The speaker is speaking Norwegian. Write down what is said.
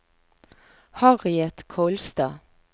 Harriet Kolstad